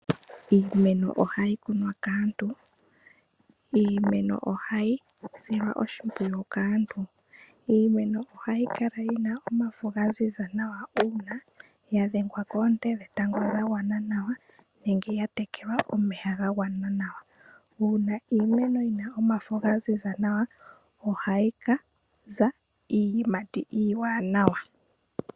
Iimeno ohayi kunwa kaantu, iimeno ohayi silwa oshipwiyu kaantu, iimeno ohayi kala yina omafo gaziza nawa na una yadhengwa koonte dhetango dhagwana nawa nenge ya tekelwa omeya gagwa nawa uuna iimeno yina omafo gaziza nawa, ohayi kaza iiyimati iiwanawa.